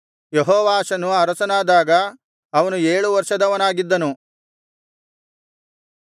ಯೆಹೋವಾಷನು ಅರಸನಾದಾಗ ಅವನು ಏಳು ವರ್ಷದವನಾಗಿದ್ದನು